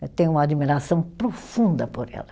Eu tenho uma admiração profunda por ela.